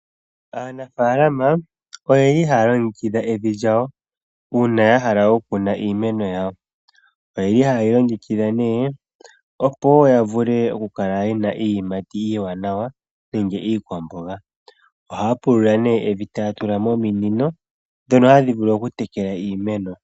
Aanafaalama oyeli haya longekidha evi lyawo uuna ya hala oku kuna iimeno yawo. Oyeli haye li longekidha nee opo woo ya kale yena iiyimati ya mena nawa nenge iikwamboga. Ohaya pulula nee etaya tula mo ominino ndhono hadhi vulu oku tekela iimeno.